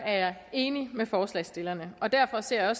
er jeg enig med forslagsstillerne og derfor ser